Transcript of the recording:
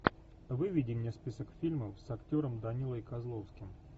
выведи мне список фильмов с актером данилой козловским